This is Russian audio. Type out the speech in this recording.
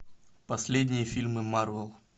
последние фильмы марвел